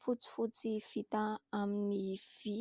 fotsifotsy vita amin'ny vy.